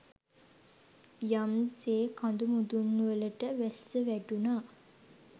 යම් සේ කඳු මුදුන්වලට වැස්ස වැටුණා